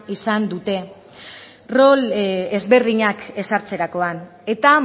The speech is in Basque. izan dute rol ezberdinak ezartzerakoan eta